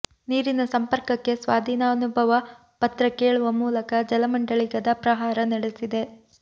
ನೀರಿನ ಸಂಪರ್ಕಕ್ಕೆ ಸ್ವಾಧೀನಾನುಭವ ಪತ್ರ ಕೇಳುವ ಮೂಲಕ ಜಲಮಂಡಳಿ ಗದಾ ಪ್ರಹಾರ ನಡೆಸಿದೆ